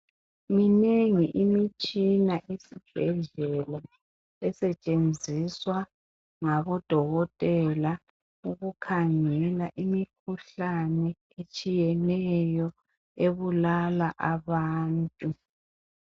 Minengi imitshisa esibhadlela esetshenziswa ngabodokotela ukukhangela imikhuhlane etshiyeneyo ebulala abantu.